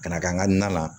Ka na kɛ an ka na